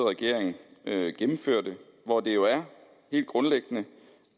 regering gennemførte og hvor det jo er helt grundlæggende